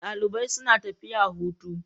Dalibai suna tafiya hutu.